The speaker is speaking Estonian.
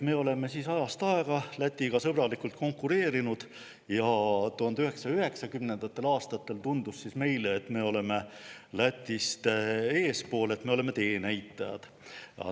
Me oleme ajast aega Lätiga sõbralikult konkureerinud ja 1990. aastatel tundus meile, et me oleme Lätist eespool, et me oleme teenäitajad.